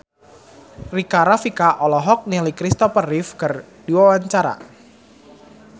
Rika Rafika olohok ningali Kristopher Reeve keur diwawancara